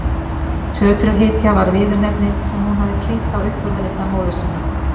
Tötrughypja var viðurnefni sem hún hafði klínt á uppburðarlitla móður sína.